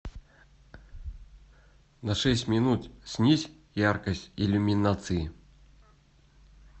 на шесть минут снизь яркость иллюминации